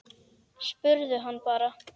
Spurðu hann bara.